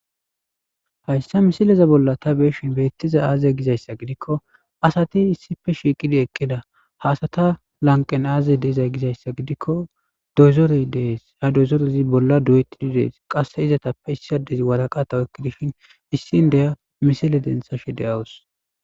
Hayssa misileza bolla ta beeshin beettiza aazey gizayssa gidikko asati issife shiiqidi eqqida haasata lanqen aaze deizay gizayssa gidikko dozorey dees ya dozorezi bolla do7etidi dees qasse izatappe issadezi waraqatawekki dishin issin deya misile denthashe de7awus